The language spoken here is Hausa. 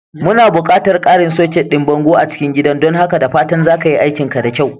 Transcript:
Muna buƙatar ƙarin soket ɗin bango a cikin gidan don haka da fatan za ka yi aikinka da kyau.